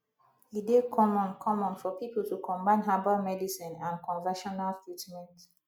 e dey common common for pipo to combine herbal medicine and conventional treatment